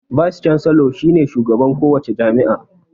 "Vice Chancellor" shi ne shugaban ko wace jami'a.